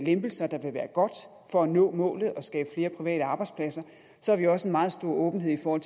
lempelser der vil være gode for at nå målet og skabe flere private arbejdspladser har vi også en meget stor åbenhed over